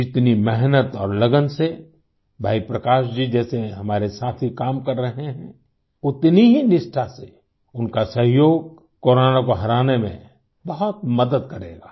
जितनी मेहनत और लगन से भाई प्रकाश जी जैसे हमारे साथी काम कर रहे हैं उतनी ही निष्ठा से उनका सहयोग कोरोना को हराने में बहुत मदद करेगा